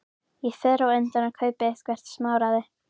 Ég fer á undan og kaupi eitthvert smáræði.